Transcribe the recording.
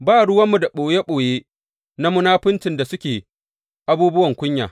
Ba ruwanmu da ɓoye ɓoye na munafuncin da suke abubuwan kunya.